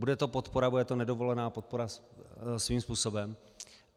Bude to podpora, bude to nedovolená podpora svým způsobem.